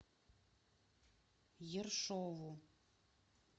ершову